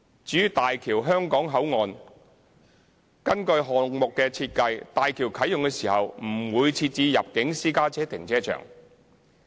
至於大橋香港口岸，根據項目的設計，大橋啟用時不會設置入境私家車停車場。